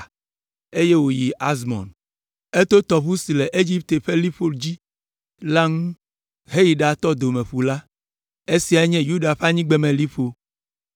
eye wòyi Azmon. Eto tɔʋu si le Egipte ƒe liƒo dzi la ŋu heyi ɖatɔ Domeƒu la. Esia nye Yuda ƒe anyigbemeliƒo.